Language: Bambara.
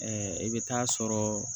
Ɛɛ i bɛ taa sɔrɔɔ